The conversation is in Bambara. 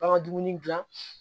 Aw ka dumuni dilan